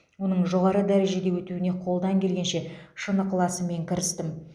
оның жоғары дәрежеде өтуіне қолдан келгенше шын ықыласыммен кірістім